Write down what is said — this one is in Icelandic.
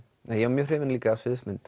en ég var mjög hrifinn líka af